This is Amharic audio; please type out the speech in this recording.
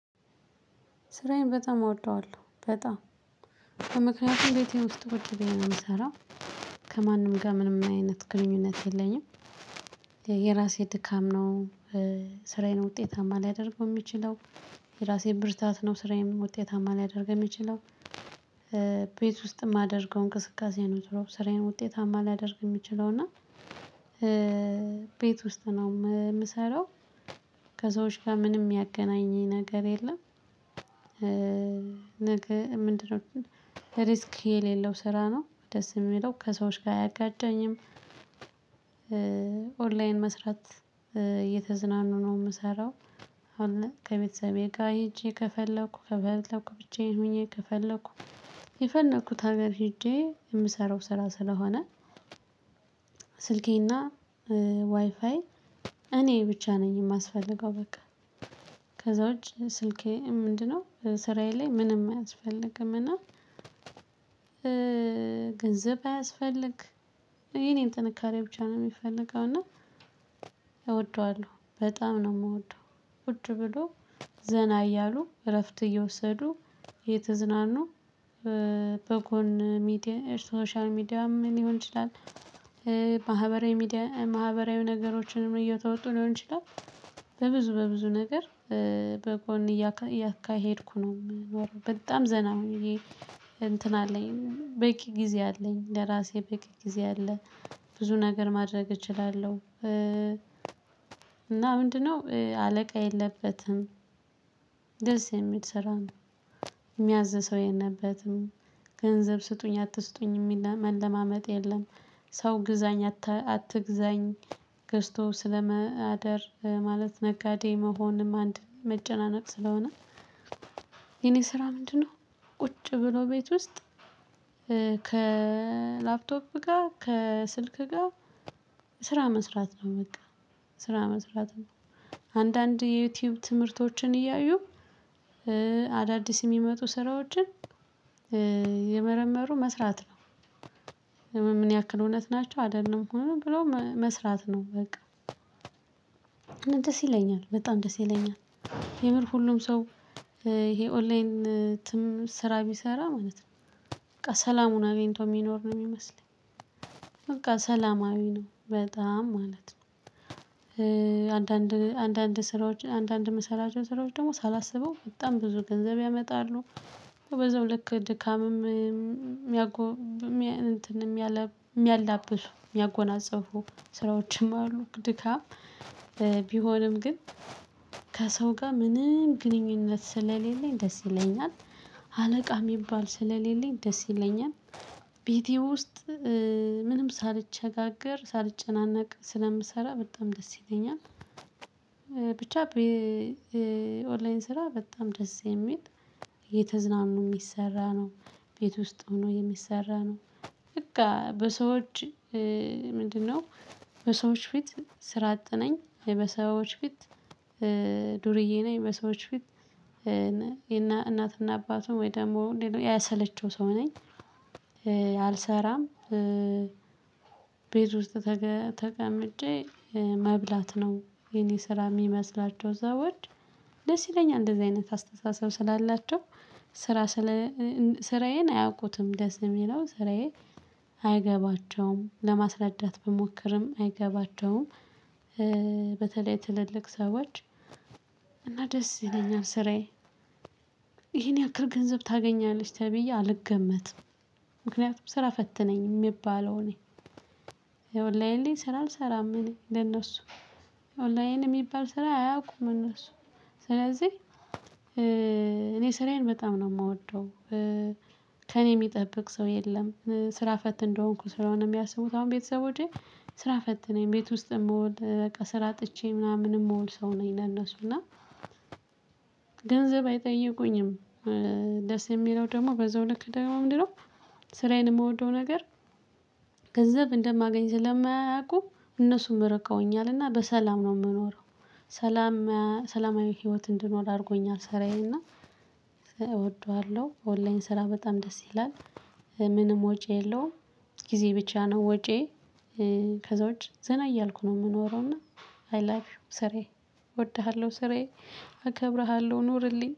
ስራዬን በጣም እወደዋለሁ በጣም በምክንያቱም ቤቴ ውስጥ ቁጭ ብዬ ነው የምሰራው ከማንም ጋር ምንም አይነት ግንኙነት የለኝም። የራሴ ድካም ነው። ስራዬን ውጤታማ ሊያደርገው የሚችለው የራሴን ብርታት ነው ስራዬን ውጤታማ ሊያደርግ የሚችለው። ቤት ውስጥ የማደርገው እንቅስቃሴ ነው ዞሮ ስራዬን ውጤታማ ሊያደርግ የሚችለው እና። ቤት ውስጥ ነው እምሰራው ከሰዎች ጋ ምንም ያገናኘኝ ነገር የለም። ነገ ምንድነው? ሪስክ የሌለው ስራ ነው ደስ እሚለው ከሰዎች ጋር አያጋጨኝም። ኦንላይን መስራት እየተዝናኑ ነው እምሰራው አሁን። ከቤተሰቤ ጋር ሄጄ ከፈለኩ ከፈለኩ ብቻዬን ሆኜ ከፈለኩ የፈለኩት ሀገር ሄጄ የምሰራው ስራ ስለሆነ። ስልኬና ዋይፋይ እኔ ብቻ ነኝ የማስፈልገው በቃ። ከዛ ውጪ ስልኬ ምንድነው? ስራዬ ላይ ምንም አያስፈልግም እና። ገንዘብ አያስፈልግ እኔ ነኝ ጥንካሬ ብቻ ነው የሚፈልገው እና። እወደዋለሁ በጣም ነው እምወደው። ቁጭ ብሎ ዘና እያሉ እረፍት እየወሰዱ እየተዝናኑ በጎን ሶሻል ሚዲያም ሊሆን ይችላል። ማህበራዊ ሚዲያ ማህበራዊ ነገሮችንም እየተወጡ ሊሆን ይችላል። በብዙ በብዙ ነገር በጎን እያካሄድኩ ነው የምኖረው በጣም ዘና ሆኜ። እንትን አለኝ በቂ ጊዜ አለኝ ለራሴ በቂ ጊዜ አለ። ብዙ ነገር ማድረግ እችላለሁ። እና ምንድነው አለቃ የለበትም? ደስ የሚል ስራ ነው። እሚያዝ ሰው የለበትም ገንዘብ ስጡኝ አትስጡኝ የሚል መለማመጥ የለም። ሰው ግዛኝ አትግዛኝ ገዝቶ ስለመደር ማለት ነጋዴ መሆንም አንድ መጨናነቅ ስለሆነ። የኔ ስራ ምንድነው? ቁጭ ብሎ ቤት ውስጥ ከላፕቶፕ ጋር ከስልክ ጋር ስራ መስራት ነው በቃ። ስራ መስራት ነው። አንዳንድ የዩቲዩብ ትምህርቶችን እያዩ አዳዲስ የሚመጡ ስራዎችን እየመረመሩ መስራት ነው። ምን ያክል እውነት ናቸው አይደሉም ብሎ መስራት ነው በቃ። ደስ ይለኛል በጣም ደስ ይለኛል። የምር ሁሉም ሰው ይሄ ኦንላይን ስራ ቢሰራ ማለት ነው በቃ ሰላሙን አግኝቶ የሚኖር ነው የሚመስለኝ። በቃ ሰላማዊ ነው በጣም ማለት ነው። አንዳንድ ስራዎች አንዳንድ ምሰራቸው ስራዎች ደግሞ ሳላስበው በጣም ብዙ ገንዘብ ያመጣሉ። በዛው ልክ ድካምም የሚያላብሱ እሚያጎናጽፉ ስራዎችም አሉ ድካም። ቢሆንም ግን ከሰው ጋር ምንም ግንኙነት ስለሌለኝ ደስ ይለኛል። አለቃ እሚባል ደስ ይለኛል። ቤቴ ውስጥ ምንም ሳልቸጋገር ሳልጨናነቅ ስለምሰራ በጣም ደስ ይለኛል። ብቻ ኦንላይን ስራ በጣም ደስ የሚል እየተዝናኑ እሚሰራ ነው። ቤት ውስጥ ሆኖ የሚሰራ ነው። በቃ በሰዎች ምንድነው? በሰዎች ፊት ስራ አጥነኝ በሰዎች ፊት ዱርዬ ነኝ በሰዎች ፊት እና እናትና አባቱን ወይ ደግሞ ያሰለቸው ሰው ነኝ። አልሰራም። ቤት ውስጥ ተቀምጬ መብላት ነው የኔ ስራ እሚመስላቸው ሰዎች። ደስ ይለኛል እንደዚህ አይነት አስተሳሰብ ስላላቸው ስራ ስራዬን አያውቁትም ደስ እሚለው ስራዬ። አይገባቸውም ለማስረዳት ብሞክርም አይገባቸውም። በተለይ ትልልቅ ሰዎች እና ደስ ይለኛል ስራዬ ይሄን ያክል ገንዘብ ታገኛለሽ ተብዬ አልገመትም። ምክንያቱም ስራ ፈት ነኝ እሚባለው እኔ ይኸ። ኦንላይን ላይ ስራ አልሰራም እኔ ለነሱ ኦንላይን እሚባል ስራ አያውቁም እነሱ። ስለዚህ እኔ ስራዬን በጣም ነው እምወደው። ከእኔ እሚጠብቅ ሰው የለም ስራ ፈት እንደሆንኩ ስለሆነ የሚያስቡት አሁን ቤተሰቦቼ። ስራ ፈት ነኝ ቤት ውስጥ የምወል በቃ ስራ አጥቼ ምናምን እምውል ሰው ነኝ ለእነሱ እና። ገንዘብ አይጠይቁኝም። ደስ እሚለው ደግሞ በዛው ልክ ደግሞ ምንድነው? ስራዬን እምወደው ነገር ገንዘብ እንደማገኝ ስለማያውቁ እነሱም ርቀውኛልና በሰላም ነው እምኖረው። ሰላም ሰላማዊ ህይወት እንድኖር አድርጎኛል። ስራዬን እና እወደዋለሁ ኦንላይን ስራ በጣም ደስ ይላል። ምንም ወጪ የለውም። ጊዜ ብቻ ነው ወጪዬ። ከዛ ውጪ ዘና እያልኩ ነው እምኖረው እና። አይ ላይቪው ስራዬ። እወድሃለሁ ስራዬ። እከብርሃለሁ ኑርልኝ